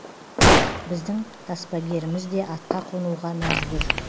біздің таспагеріміз де атқа қонуға мәжбүр